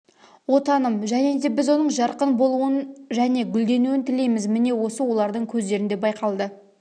отаным және де біз оның жарқын болуын және гүлденуін тілейміз міне осы олардың көздерінде байқалды